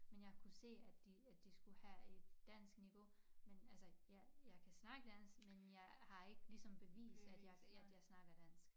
Men jeg kunne se at de at de skulle have et danskniveau men altså jeg jeg kan snakke dansk men jeg har ikke ligesom bevist at jeg at jeg snakker dansk